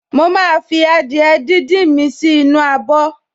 Mo máa fi adìẹ díndín mi sì inú abọ̀